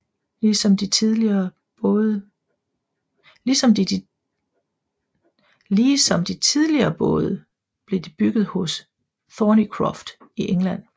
Lige som de tidligere både blev de bygget hos Thornycroft i England